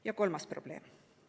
Ja kolmas probleem.